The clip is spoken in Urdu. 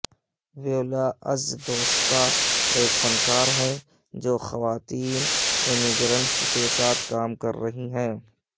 ویولا اجزدوسکا ایک فنکار ہیں جو خواتین امیگرنٹس کے ساتھ کام کر رہی ہیں